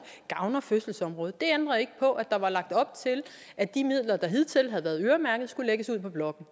gavner fødselsområdet det ændrer jo ikke på at der var lagt op til at de midler der hidtil havde været øremærket skulle lægges ud på blokken